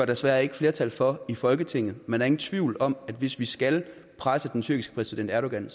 desværre ikke flertal for i folketinget men der er ingen tvivl om at hvis vi skal presse den tyrkiske præsident erdogan